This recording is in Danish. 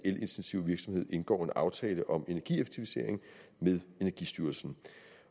elintensive virksomhed indgår en aftale om energieffektivisering med energistyrelsen